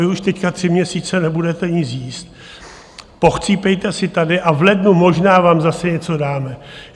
Vy už teď tři měsíce nebudete nic jíst, pochcípejte si tady a v lednu možná vám zase něco dáme.